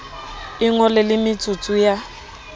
o ngole le metsotso ya